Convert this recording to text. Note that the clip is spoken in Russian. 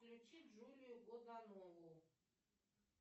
включи джулию годунову